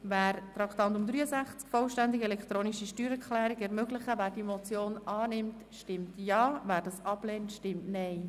Wer die Motion «Vollständig elektronische Steuererklärung ermöglichen» annimmt, stimmt Ja, wer diese ablehnt, stimmt Nein.